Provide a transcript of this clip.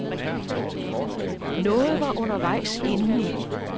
Noget var undervejs inden i.